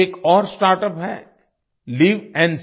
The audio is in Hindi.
एक और startupहैLivNSense